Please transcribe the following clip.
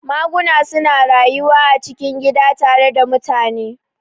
Maguna suna rayuwa a cikin gida tare da mutane